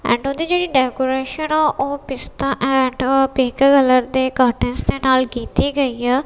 ਇਹਨਾਂ ਦੀ ਜਿਹੜੀ ਡੈਕੋਰੇਸ਼ਨ ਆ ਉਹ ਪਿਸਤਾ ਐਂਡ ਪਿੰਕ ਕਲਰ ਦੇ ਕਟਨਸ ਦੇ ਨਾਲ ਕੀਤੀ ਗਈ ਆ।